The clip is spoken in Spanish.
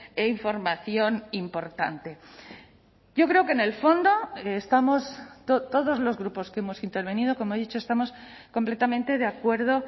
e información importante yo creo que en el fondo estamos todos los grupos que hemos intervenido como he dicho estamos completamente de acuerdo